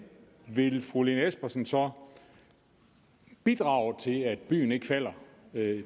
vil fru lene espersen så bidrage til at byen ikke falder